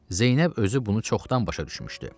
Zeynəb özü bunu çoxdan başa düşmüşdü.